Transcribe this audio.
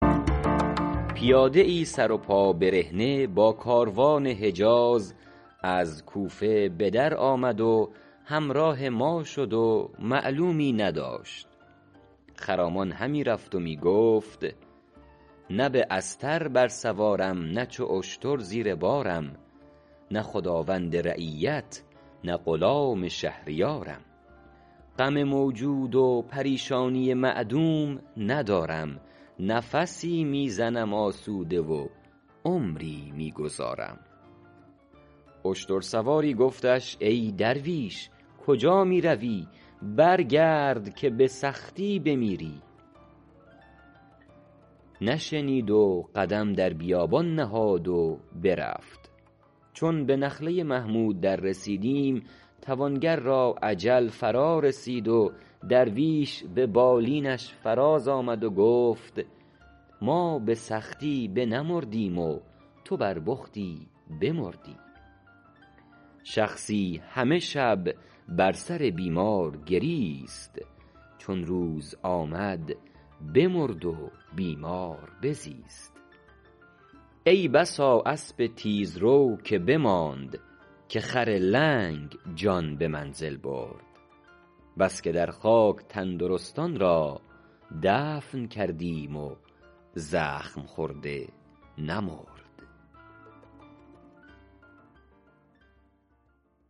پیاده ای سر و پا برهنه با کاروان حجاز از کوفه به در آمد و همراه ما شد و معلومی نداشت خرامان همی رفت و می گفت نه به استر بر سوارم نه چو اشتر زیر بارم نه خداوند رعیت نه غلام شهریارم غم موجود و پریشانی معدوم ندارم نفسی می زنم آسوده و عمری می گذارم اشتر سواری گفتش ای درویش کجا می روی برگرد که به سختی بمیری نشنید و قدم در بیابان نهاد و برفت چون به نخله محمود در رسیدیم توانگر را اجل فرا رسید درویش به بالینش فراز آمد و گفت ما به سختی بنمردیم و تو بر بختی بمردی شخصی همه شب بر سر بیمار گریست چون روز بشد بمرد و بیمار بزیست ای بسا اسب تیزرو که بماند که خر لنگ جان به منزل برد بس که در خاک تندرستان را دفن کردیم و زخم خورده نمرد